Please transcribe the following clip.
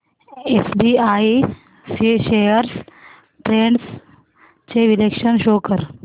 SBI shares trends चे विश्लेषण show कर